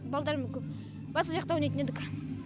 балдармен көп басқа жақта ойнайтын едік